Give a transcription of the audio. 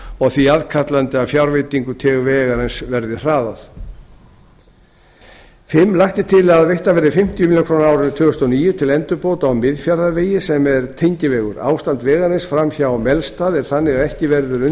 og því aðkallandi að fjárveitingum til vegarins verði hraðað fimmta lagt er til að veittar verði fimmtíu milljónir króna á árinu tvö þúsund og níu til endurbóta á miðfjarðarvegi sem er tengivegur ástand vegarins fram hjá melstað er þannig að ekki verður